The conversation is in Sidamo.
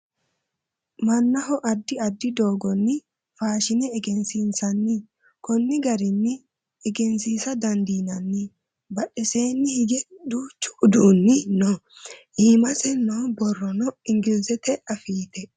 mannaho addi addi doogonni faashine egensiinsanni konni garinio egensiisa dandiinanni badheseeni hige duuchu uduunni no iimase noo borrono inglizete afiite